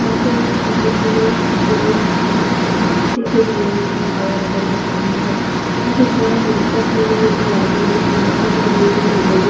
यहा पे मोमबती है जो का कारती के दिये में है और अगरबत्ती भी है यहा पे सेम वेसा ही है जो आगे भी है मट्टी का दिये है जो बड़े--